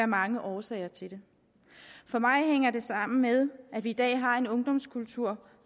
mange årsager til det for mig hænger det sammen med at vi i dag har en ungdomskultur